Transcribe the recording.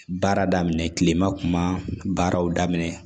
Baara daminɛ kilema kun ma baaraw daminɛ